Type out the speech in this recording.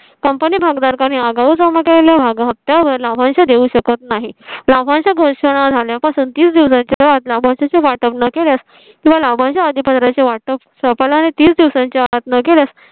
company भागधारकांनी आगाऊ जमा केला. मग त्यावर लाभांश देऊ शकत नाही. लाभांश च्या घोषणा झाल्या पासून तीस दिवसांच्या आत ला लाभांश चे वाटप न केल्यास तुम्हाला म्हणजे आधी पत्राचे वाटप चप्पल आणि तीस दिवसांच्या आत न केल्यास